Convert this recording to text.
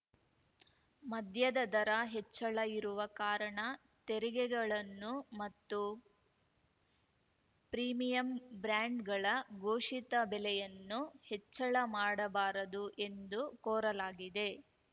ಮದ್ಯದ ದರ ಹೆಚ್ಚಳ ಇರುವ ಕಾರಣ ತೆರಿಗೆಗಳನ್ನು ಮತ್ತು ಪ್ರೀಮಿಯಮ್‌ ಬ್ರ್ಯಾಂಡ್‌ಗಳ ಘೋಷಿತ ಬೆಲೆಯನ್ನು ಹೆಚ್ಚಳ ಮಾಡಬಾರದು ಎಂದು ಕೋರಲಾಗಿದೆ